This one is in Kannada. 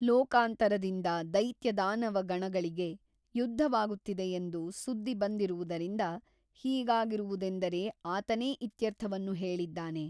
ಲೋಕಾಂತರದಿಂದ ದೈತ್ಯದಾನವಗಣಗಳಿಗೆ ಯುದ್ಧವಾಗುತ್ತಿದೆಯೆಂದು ಸುದ್ದಿ ಬಂದಿರುವುದರಿಂದ ಹೀಗಾಗಿರುವುದೆಂದರೆ ಆತನೇ ಇತ್ಯರ್ಥವನ್ನು ಹೇಳಿದ್ದಾನೆ.